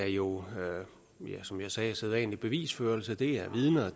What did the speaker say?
jo som jeg sagde er sædvanlig bevisførelse det er vidner